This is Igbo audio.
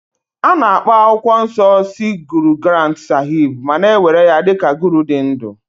A na-akpọ akwụkwọ nsọ sikh Guru Granth sahib ma na-ewere ya dị ka Guru dị ndụ